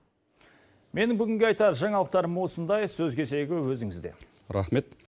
менің бүгінгі айтар жаңалықтарым осындай сөз кезегі өзіңізде рахмет